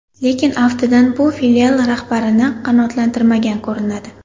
Lekin aftidan bu filial rahbarini qanoatlantirmagan ko‘rinadi.